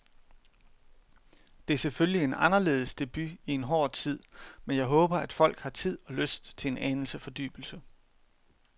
Det er selvfølgelig en anderledes debut i en hård tid, men jeg håber, at folk har tid og lyst til en anelse fordybelse.